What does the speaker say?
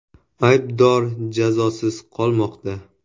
Aybdor jazosiz qolmoqda.